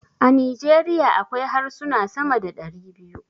A Nijeriya akwai harsuna sama da dari biyu.